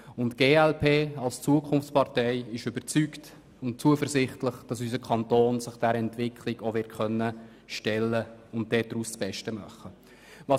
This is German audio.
Die glp als Zukunftspartei ist überzeugt und zuversichtlich, dass sich der Kanton dieser Entwicklung stellen und das Beste daraus machen wird.